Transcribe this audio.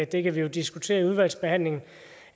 det kan vi jo diskutere i udvalgsbehandlingen